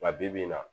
Nka bibi in na